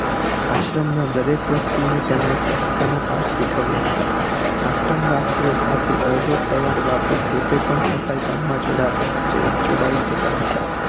આશ્રમ નાં દરેક વ્યક્તિ ને તેમણે સ્વચ્છતા નાં પાઠ શીખવ્યા હતા આશ્રમ વાસિયો સાથે દરરોજ સવારે બાપુ પોતે પણ સફાઈ કામ માં જોડાઈ જતા હતા